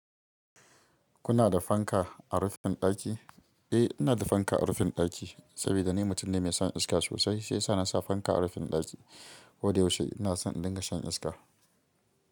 Kuna da fanka a rufin ɗaki? Eh, ina da fanka a rufin ɗaki saboda ni mutum ne mai son iska sosai. Shi ya sa na sa fanka a rufin ɗaki. Koda yaushe ina son in dinga shan iska.